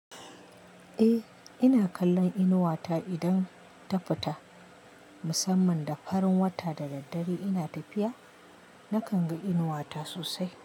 Eh, ina kallon inuwa ta idan ta fita. Musamman da farin wata da daddare ina tafiya, nakan ga inuwa ta sosai.